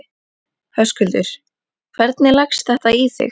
Höskuldur: Hvernig leggst þetta í þig?